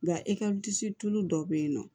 Nka tulu dɔ be yen nɔ